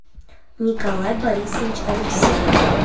николай борисович алексеев